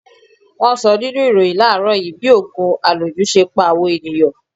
Wọn sọ nínú ìròhìn láàrọ́ yìí bí ogun aloju ṣe ń pa àwọn ènìyàn.